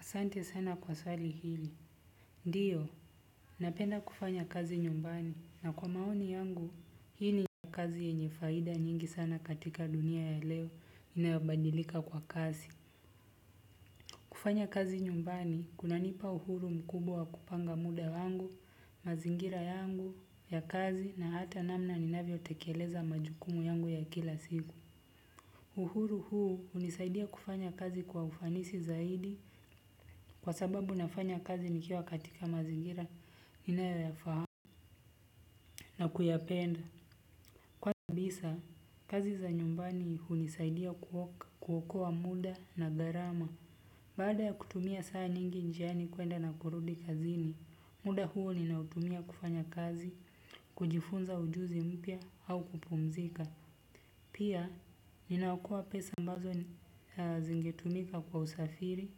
Asante sana kwa swali hili. Ndio, napenda kufanya kazi nyumbani na kwa maoni yangu, hii ni kazi yenye faida nyingi sana katika dunia ya leo inayobadilika kwa kasi. Kufanya kazi nyumbani, kunanipa uhuru mkubwa kupanga muda yangu, mazingira yangu ya kazi na hata namna ninavyotekeleza majukumu yangu ya kila siku. Uhuru huu hunisaidia kufanya kazi kwa ufanisi zaidi kwa sababu nafanya kazi nikiwa katika mazingira ninayoyafahamu na kuyapenda. Kwanza kabisa, kazi za nyumbani hunisaidia kuokoa muda na gharama. Baada ya kutumia saa nyingi njiani kuenda na kurudi kazini muda huo ninautumia kufanya kazi, kujifunza ujuzi mpya au kupumzika. Pia, ninaokoa pesa ambazo zingetumika kwa usafiri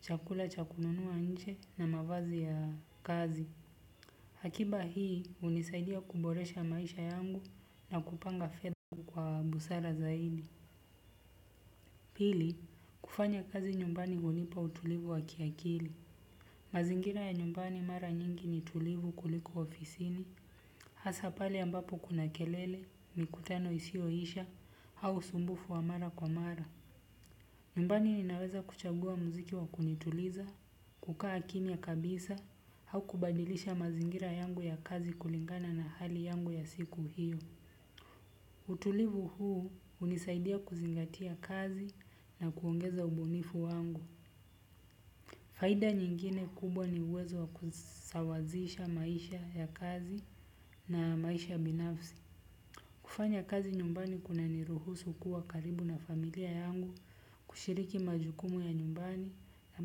chakula cha kununua nje na mavazi ya kazi. Akiba hii hunisaidia kuboresha maisha yangu na kupanga fedha kwa busara zaidi. Pili, kufanya kazi nyumbani hunipa utulivu wa kiakili. Mazingira ya nyumbani mara nyingi ni tulivu kuliko ofisini. Hasa pale ambapo kuna kelele, mikutano isiyoisha, au usumbufu wa mara kwa mara. Nyumbani ninaweza kuchagua muziki wa kunituliza, kukaa kimya kabisa au kubadilisha mazingira yangu ya kazi kulingana na hali yangu ya siku hio. Utulivu huu hunisaidia kuzingatia kazi na kuongeza ubunifu wangu. Faida nyingine kubwa ni uwezo wa kusawazisha maisha ya kazi na maisha ya binafsi. Kufanya kazi nyumbani kuna niruhusu kuwa karibu na familia yangu, kushiriki majukumu ya nyumbani na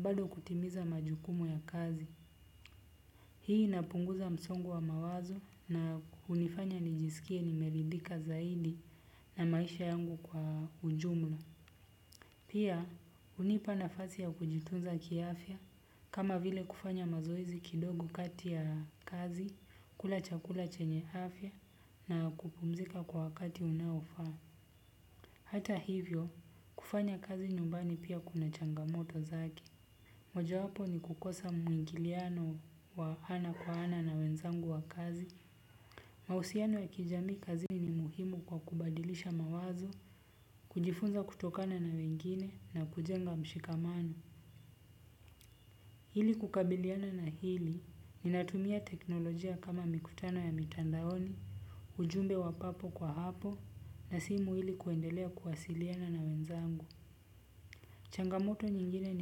bado kutimiza majukumu ya kazi. Hii inapunguza msongo wa mawazo na hunifanya nijisikie nimeridhika zaidi na maisha yangu kwa ujumla. Pia, hunipa nafasi ya kujitunza kiafya kama vile kufanya mazoezi kidogo kati ya kazi, kula chakula chenye afya na kupumzika kwa wakati unaofaa. Hata hivyo, kufanya kazi nyumbani pia kuna changamoto zake. Mojawapo ni kukosa mwingiliano wa ana kwa ana na wenzangu wa kazi. Mahusiano ya kijamii kazini ni muhimu kwa kubadilisha mawazo, kujifunza kutokana na wengine na kujenga mshikamano. Ili kukabiliana na hili, ninatumia teknolojia kama mikutano ya mitandaoni, ujumbe wa papo kwa hapo, na simu ili kuendelea kuwasiliana na wenzangu. Changamoto nyingine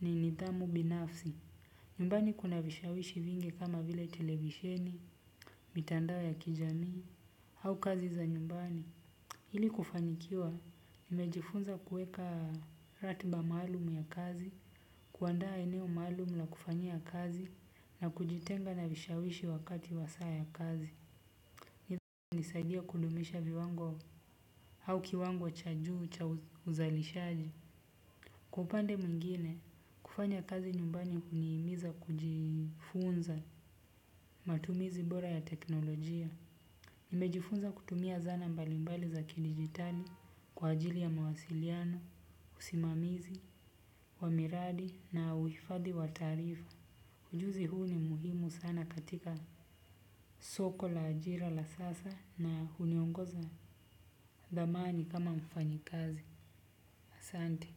ni nidhamu binafsi. Nyumbani kuna vishawishi vingi kama vile televisheni, mitandao ya kijamii, au kazi za nyumbani. Iili kufanikiwa, nimejifunza kuweka ratiba maalumu ya kazi, kuandaa eneo maalumu la kufanya ya kazi, na kujitenga na vishawishi wakati wa saa ya kazi. Nidhamu inanisaidia kudumisha viwango au kiwango cha juu cha uzalishaji. Kwa upande mwingine, kufanya kazi nyumbani hunihimiza kujifunza matumizi bora ya teknolojia. Nimejifunza kutumia zana mbalimbali za kidijitali kwa ajili ya mawasiliano, usimamizi wamiradi na uhifadhi wa taarifa. Ujuzi huu ni muhimu sana katika soko la ajira la sasa na huniongoza dhamani kama mfanyikazi. Asante.